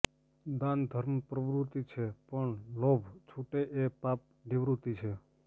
દાન ધર્મ પ્રવૃત્તિ છે પણ લોભ છુટે એ પાપ નિવૃત્તિ છે